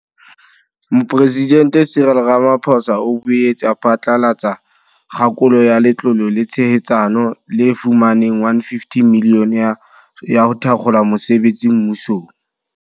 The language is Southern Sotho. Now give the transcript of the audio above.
Mopresidente Cyril Ramaphosa o boetse a phatlalatsa kgakolo ya Letlole la Tshehetsano, le fumaneng R150 milione ya ho thakgola mosebetsi mmusong.